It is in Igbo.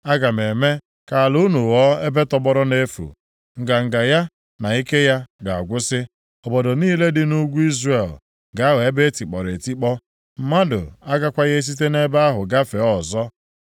Aga m eme ka ala unu ghọọ ebe tọgbọrọ nʼefu. Nganga ya, na ike ya ga-agwụsị. Obodo niile dị nʼugwu Izrel ga-aghọ ebe e tikpọrọ etikpọ, mmadụ agakwaghị esite nʼebe ahụ gafee ọzọ.